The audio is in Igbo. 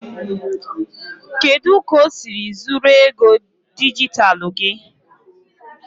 kedu ka o siri zuru ego dijitalụ gị?